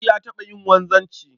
Audu ya taɓa yin wanzanci